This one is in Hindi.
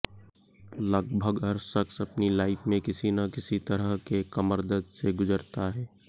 लगभग हर शख्स अपनी लाइफ में किसी न किसी तरह के कमरदर्द से गुज़रता है